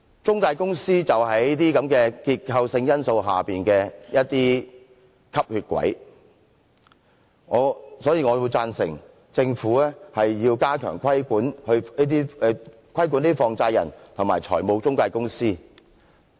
中介公司便是這些結構性因素下的"吸血鬼"，所以我贊成政府加強規管放債人和財務中介公司。